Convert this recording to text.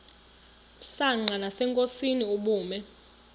msanqa nasenkosini ubume